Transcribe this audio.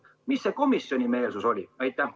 Milline selle komisjoni meelsus oli?